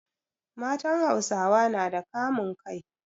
Matan Hausawa nada kamun kai